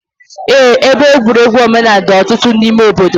Eé, ebe egwuregwu omenaala dị ọtụtụ n'ime obodo.